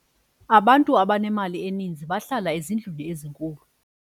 abantu abanemali eninzi bahlala ezindlwini ezinkulu